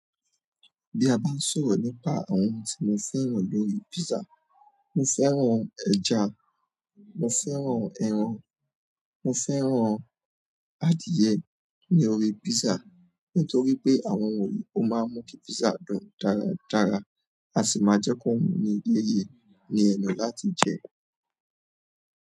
Bí a bá ń sọ̀rọ̀ nípa àwọn ohun tí mo fẹ́ràn lórí pizza, mo fẹ́ràn ẹja, mo fẹ́ràn ẹran, mo fẹ́ràn adìẹ ní orí pizza nítorí pé àwọn wọ̀nyí ó máa ń mú kí pizza dùn dáradára a sì máa jẹ́ kó wù ní yéyè ní ẹnu láti jẹ.